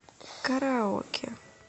караоке